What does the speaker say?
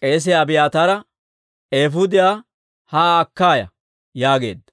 k'eesiyaa Abiyaataara, «Eefuudiyaa haa akka ya» yaageedda.